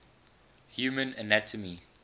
human anatomy